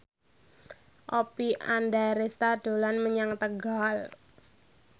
Oppie Andaresta dolan menyang Tegal